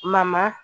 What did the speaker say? Mama